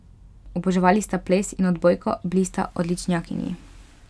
Oboževali sta ples in odbojko, bili sta odličnjakinji.